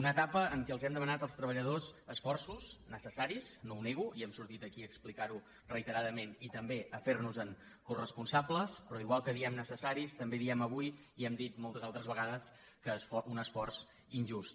una etapa en què els hem demanat als treballadors esforços necessaris no ho nego i hem sortit aquí a explicar·ho reiteradament i també a fer·nos·en cores·ponsables però igual que diem necessaris també diem avui i ho hem dit moltes altres vegades que un esforç injust